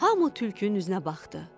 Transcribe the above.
Hamı tülkünün üzünə baxdı.